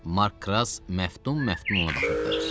Mark Kras məftun məftun ona baxırdı.